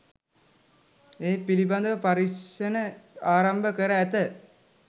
ඒ පිළිබඳ පරීක්ෂණ ආරම්භ කර ඇත.